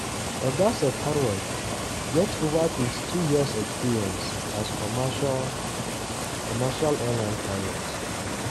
oga sabharwal get ova 22-years experience as commercial commercial airline pilot.